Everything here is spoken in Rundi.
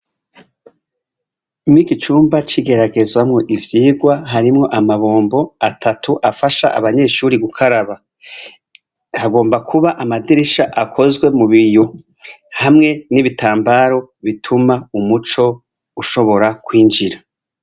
Mw'iki cumba c'igeragerezwamwo ivyigwa, harimwo amabombo atatu afasha abanyeshuri gukaraba. Hagomba kuba amadirisha akozwe mu biyo hamwe n'ibitambaro bituma umuco ushobora kwinjira.